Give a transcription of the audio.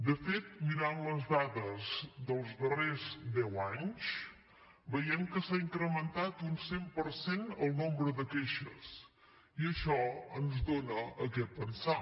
de fet mirant les dades dels darrers deu anys veiem que s’ha incrementat un cent per cent el nombre de queixes i això dona que pensar